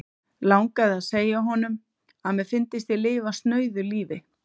Langaði að segja honum, að mér fyndist ég lifa snauðu lífi.